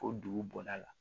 Ko dugu bɔda la